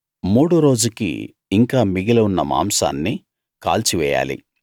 మూడో రోజుకి ఇంకా మిగిలి ఉన్న మాంసాన్ని కాల్చి వేయాలి